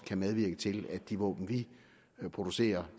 kan medvirke til at de våben vi producerer